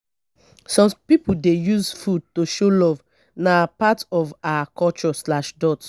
some pipo dey use food to show love; na part of our culture.